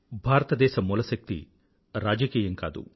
భారతదేశ మూలశక్తి రాజకీయం కాదు